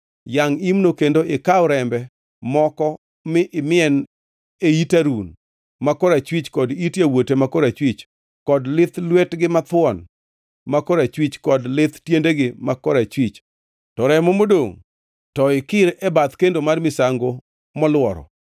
Yangʼ imno kendo ikaw rembe moko mi imien e it Harun ma korachwich kod it yawuote ma korachwich kod lith lwetgi mathuon ma korachwich kod lith tiendegi ma korachwich, to remo modongʼ to ikir e bath kendo mar misango moluoro.